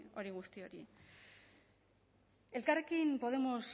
hori guzti hori elkarrekin podemos